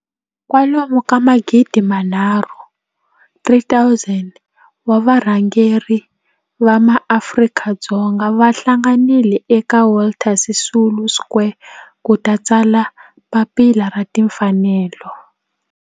kwalomu ka magidi nharhu, 3 000 wa varhangeri va maAfrika-Dzonga va hlanganile eka Walter Sisulu Square ku ta tsala Papila ra Tinfanelo.